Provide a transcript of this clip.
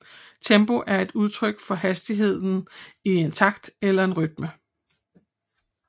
Tempo er et udtryk for hastigheden i en takt eller en rytme